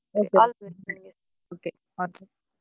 Okay okay all the best .